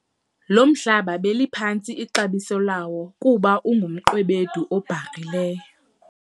lo mhlaba beliphantsi ixabiso lawo kuba ungumqwebedu obharhileyo